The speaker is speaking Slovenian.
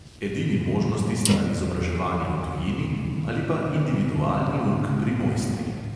Edini možnosti sta izobraževanje v tujini ali pa individualni uk pri mojstrih.